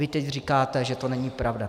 Vy teď říkáte, že to není pravda.